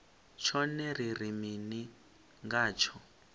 tshone ri ri mini ngatsho